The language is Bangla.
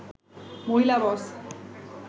মহিলা বস